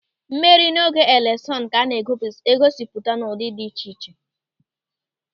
Mmeri n'oge eleshọn ka a na-egosipụta n'ụdị dị iche iche.